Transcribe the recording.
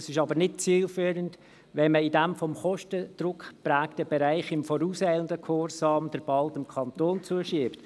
Es ist aber nicht zielführend, in diesem von Kostendruck geprägten Bereich in vorauseilendem Gehorsam den Ball dem Kanton zuzuspielen.